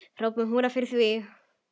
Hrópum húrra fyrir því.